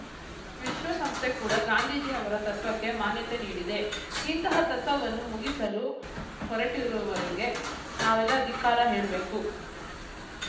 ವಿಶ್ವ ಸಂಸ್ಥೆ ಕೂಡ ಗಾಂಧೀಜಿ ಅವರ ತತ್ವಕ್ಕೆ ಮಾನ್ಯತೆ ನೀಡಿದೆ ಇಂತಹ ತತ್ವವನ್ನು ಮುಗಿಸಲು ಹೊರಟಿರುವವರಿಗೆ ನಾವೆಲ್ಲ ಧಿಕ್ಕಾರ ಹೇಳ್ಬೇಕು